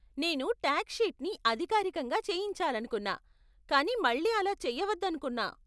నేను టాక్స్ షీట్ని అధికారికంగా చేయించాలనుకున్నా, కానీ మళ్లీ అలా చేయవద్దనుకున్నా.